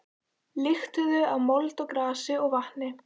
Lyktuðu af mold og grasi og vatni.